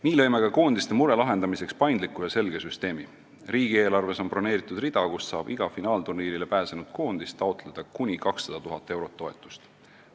Nii lõime ka koondiste mure lahendamiseks paindliku ja selge süsteemi: riigieelarves on broneeritud rida, kust saab iga finaalturniirile pääsenud koondis taotleda kuni 200 000 eurot toetust.